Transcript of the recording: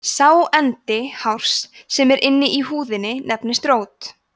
sá endi hárs sem er inni í húðinni nefnist rót